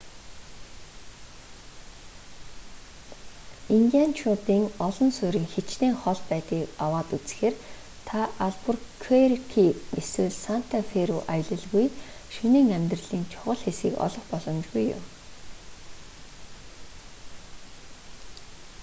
индианчуудын олон суурин хичнээн хол байдгийг аваад үзэхээр та албуркуэрки эсвэл санта фэ руу аялалгүй шөнийн амьдралын чухал хэсгийг олох боломжгүй юм